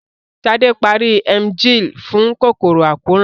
Ṣadé parí Emgyl fún kòkòrò àkóràn